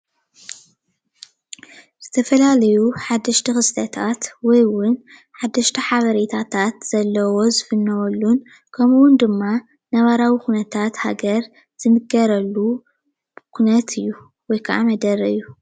ዝተፈላለዩ ሓደሽት ክስተታት ወይ እውን ሓደሽት ሓበሪታት ዘለውዎ ዝፍነወሉን ከምኡ እውን ድማ ነባራዊ ኩነታት ሃገር ዝንገረሉ ኩነት እዩ። ወይ ከዓ መደረ እዩ፡፡